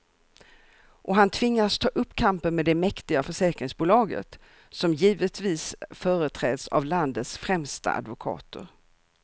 Och han tvingas ta upp kampen med det mäktiga försäkringsbolaget, som givetvis företräds av landets främsta advokater.